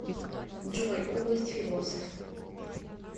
джой область философ